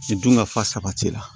Dunkafa sabati la